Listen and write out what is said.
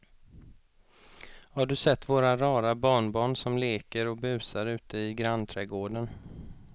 Har du sett våra rara barnbarn som leker och busar ute i grannträdgården!